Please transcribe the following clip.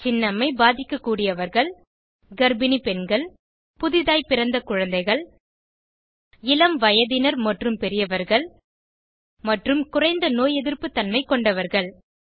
சின்னம்மை பாதிக்கக்கூடியவர்கள் கர்ப்பிணி பெண்கள் புதிதாய் பிறந்த குழந்தைகள் இளம்வயதினர் மற்றும் பெரியவர்கள் மற்றும் குறைந்த நோய் எதிர்ப்பு தன்மை கொண்டவர்கள்